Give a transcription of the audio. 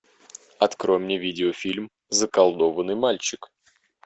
открой мне видеофильм заколдованный мальчик